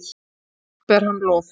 Hátt ber hann lof.